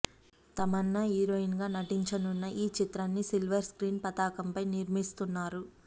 Tamannaah heroine గా నటించనున్న ఈ చిత్రాన్ని సిల్వర్ స్క్రీన్ పతాకంపై నిర్మిస్తున్నారు